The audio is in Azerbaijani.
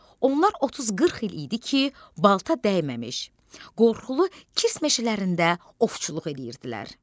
Onlar 30-40 il idi ki, balta dəyməmiş, qorxulu kirs meşələrində ovçuluq eləyirdilər.